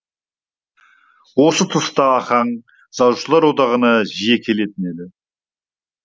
осы тұста ахаң жазушылар одағына жиі келетін еді